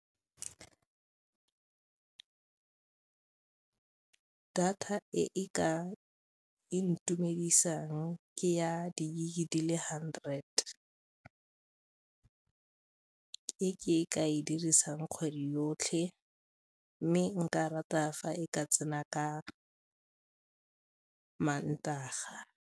Data e e ka intumedisang ke ya di-gig-e di le hundred e ke ka e dirisang kgwedi yotlhe mme nka rata fa e ka tsena ka Mantaga.